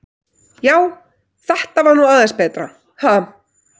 Já, þetta var nú aðeins betra, ha!